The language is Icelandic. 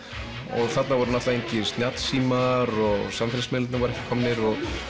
og þarna voru engir snjallsímar og samfélagsmiðlarnir voru ekki komnir